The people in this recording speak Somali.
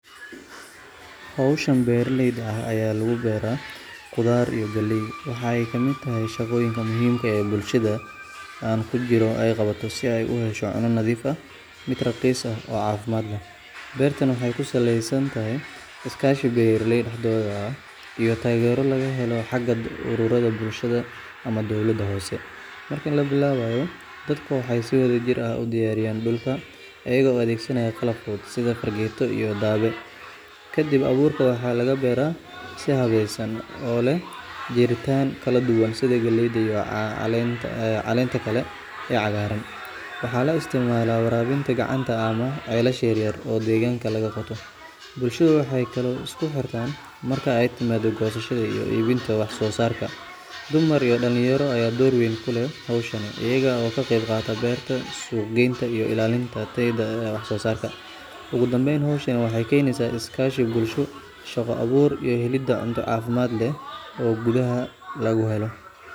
Hawshan beeraleyda ah ee ayaa lagu beera khudaar iyo galley waxa ay ka mid tahay shaqooyinka muhiimka ah ee bulshada aan ku jirto ay qabato si ay u hesho cunno nadiif ah, mid raqiis ah oo caafimaad leh. Beertani waxay ku saleysan tahay iskaashi beeraleyda dhexdeeda ah iyo taageero laga helo xagga ururada bulshada ama dowladda hoose. Marka la bilaabayo, dadku waxay si wadajir ah u diyaariyaan dhulka, iyaga oo adeegsanaya qalab fudud sida fargeeto iyo dabbe. Ka dibna abuurka waxaa lagu beeraa si habaysan, oo leh jaritaan kala duwan sida galleyda iyo caleenta kale ee cagaaran. Waxaa la isticmaalaa waraabinta gacanta ama ceelasha yar yar oo deegaanka laga qoto. Bulshada waxay kaloo isku xirtaan marka ay timaado goosashada iyo iibinta wax soo saarka. Dumar iyo dhallinyaro ayaa door weyn ku leh hawshan, iyaga oo ka qayb qaata beerta, suuqgeynta iyo ilaalinta tayada wax soos aarka. Ugu dambeyn, hawshani waxay keenaysaa is kaashi bulsho, shaqo abuur iyo helidda cunto caafimaad leh oo gudaha laga helo.